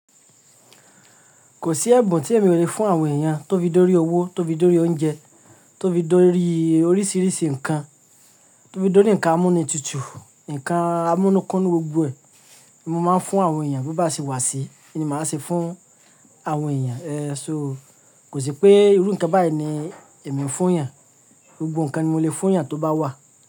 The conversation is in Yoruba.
Kò sí ẹ̀bùn tí èmi ò le fún àwọn èèyàn, tó fi dórí owó, tó fi dórí oúnjẹ, tó fi dórí oríṣiríṣi nǹkan, tó fi dórí ǹkan amúnitútù, ǹkan amúkúnúnú, gbogbo ẹ̀, mo máa ń fún àwọn èèyàn bí o bá ṣe wà sí i, íni màá ṣe fún àwọn èèyàn? Kò sí pé irú nǹkan báyìí ni èmi ń fún èèyàn, gbogbo nǹkan ni mo lè fún èèyàn tó bá wà.